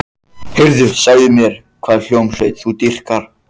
Heyrðu, segðu mér hvaða hljómsveit þú dýrkar.